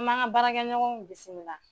An m'a ŋa baarakɛɲɔgɔnw bisimila